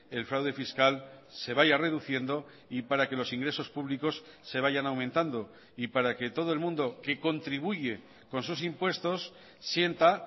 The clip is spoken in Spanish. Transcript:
el fraude fiscal se vaya reduciendo y para que los ingresos públicos se vayan aumentando y para que todo el mundo que contribuye con sus impuestos sienta